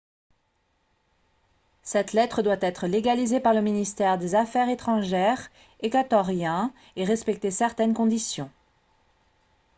cette lettre doit être légalisée par le ministère des affaires étrangères équatorien et respecter certaines conditions